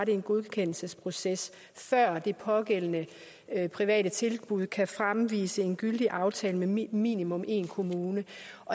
en godkendelsesproces før det pågældende private tilbud kan fremvise en gyldig aftale med minimum én kommune